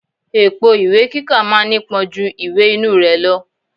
Èpo ìwé kíkà ma ń nípọn ju ìwè inú rẹ̀ lọ.